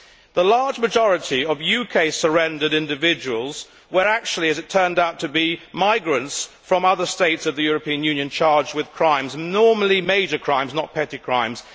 The large majority of UK surrendered individuals were actually, as it turned out, migrants from other States of the European Union charged with crimes normally major crimes, not petty crimes.